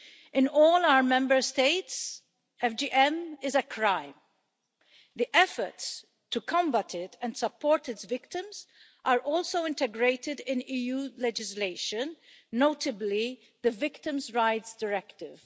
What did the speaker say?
In all our Member States, FGM is a crime. The efforts to combat it and support its victims are also integrated in EU legislation, notably the Victims' Rights Directive.